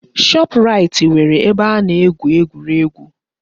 Shoprait nwere ebe a na-egwu egwuregwu.